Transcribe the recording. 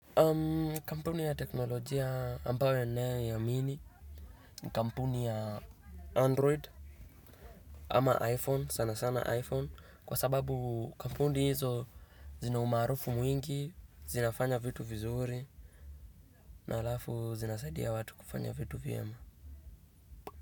Kampuni ya teknolojia ambayo ninayo iamini ni kampuni ya android ama iphone sana sana iphone kwa sababu kampuni hizo zinaumarufu mwingi, zinafanya vitu vizuri na alafu zinasaidia watu kufanya vitu vyema.